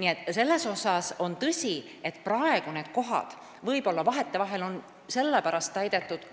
Nii et selles mõttes on tõsi, et praegu on hooldekodukohad täidetud, kuigi